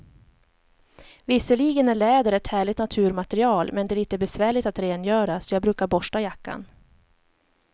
Visserligen är läder ett härligt naturmaterial, men det är lite besvärligt att rengöra, så jag brukar borsta jackan.